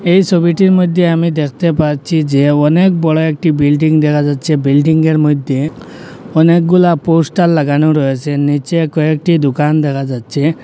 এই ছবিটির মইধ্যে আমি দেখতে পাচ্ছি যে অনেক বড় একটি বিল্ডিং দেখা যাচ্ছে বিল্ডিংয়ের মইধ্যে অনেকগুলা পোস্টার লাগানো রয়েছে নিচে কয়েকটি দোকান দেখা যাচ্ছে।